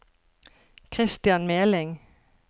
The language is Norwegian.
Kristian Meling